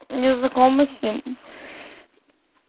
не знакомы с ним